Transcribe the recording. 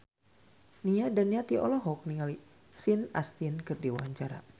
Nia Daniati olohok ningali Sean Astin keur diwawancara